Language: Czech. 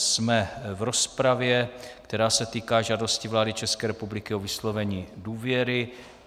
Jsme v rozpravě, která se týká žádosti vlády České republiky o vyslovení důvěry.